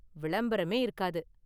விளம்பரமே இருக்காது.